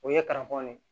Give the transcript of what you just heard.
O ye karafɔn de ye